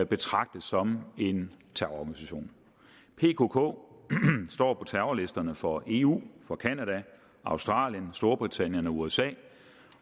betragtes som en terrororganisation pkk står på terrorlisterne for eu for canada australien storbritannien og usa